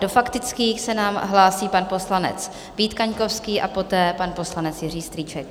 Do faktických se nám hlásí pan poslanec Vít Kaňkovský a poté pan poslanec Jiří Strýček.